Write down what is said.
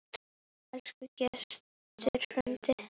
Elsku Gestur frændi.